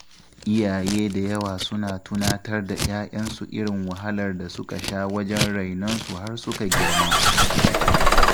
Iyaye da yawa suna tunatar da ‘ya‘yansu irin wahalar da suka sha wajen rainonsu har suka girma.